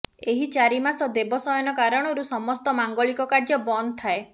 ଏହି ଚାରି ମାସ ଦେବ ଶୟନ କାରଣରୁ ସମସ୍ତ ମାଙ୍ଗଳିକ କାର୍ଯ୍ୟ ବନ୍ଦ ଥାଏ